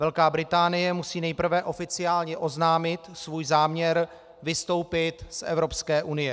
Velká Británie musí nejprve oficiálně oznámit svůj záměr vystoupit z Evropské unie.